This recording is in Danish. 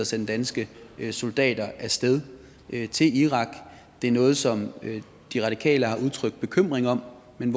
sende danske soldater af sted til irak det er noget som de radikale har udtrykt bekymring over men